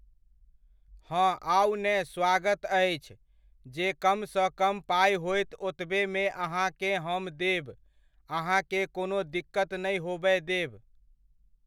हँ आउ ने स्वागत अछि, जे कम सँ कम पाइ होयत ओतबेमे अहाँकेॅं हम देब अहाँकेँ कोनो दिक्कत नहि होबय देब।